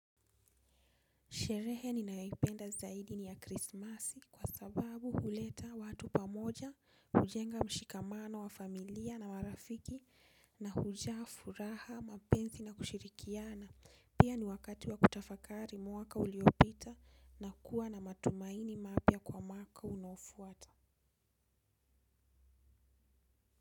Sherehe ninayoipenda zaidi ni ya krismasi kwa sababu huleta watu pamoja, hujenga mshikamana wa familia na marafiki na hujaa furaha, mapenzi na kushirikiana. Pia ni wakati wa kutafakari mwaka uliopita na kuwa na matumaini mapya kwa mwaka unaofuata.